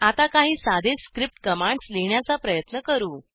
आता काही साधे स्क्रिप्ट कमांड्स लिहिण्याचा प्रयत्न करू